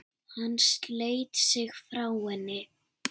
Hann sleit sig frá henni.